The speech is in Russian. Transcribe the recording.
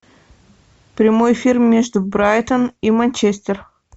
прямой эфир между брайтон и манчестер